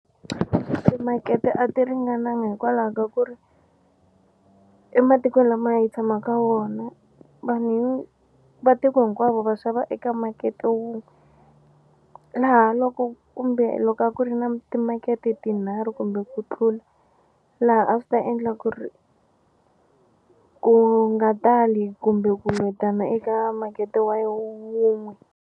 Timakete a ti ringananga hikwalaho ka ku ri ematikweni lama a hi tshama ka wona vanhu va tiko hinkwavo va xava eka makete wun'we laha loko kumbe loko a ku ri na timakete tinharhu kumbe ku tlula laha a swi ta endla ku ri ku nga tali kumbe ku lwetana eka makete wa wun'we.